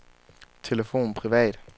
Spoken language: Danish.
telefon privat